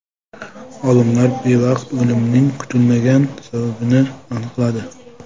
Olimlar bevaqt o‘limning kutilmagan sababini aniqladi.